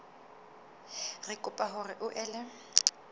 re kopa hore o ele